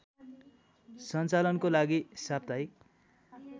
सञ्चालनको लागि साप्ताहिक